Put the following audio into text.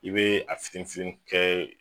I be a fitini fitini kɛ